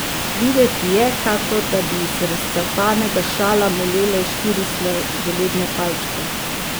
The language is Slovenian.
Videti je, kakor da bi iz razcapanega šala molele štiri sladoledne palčke.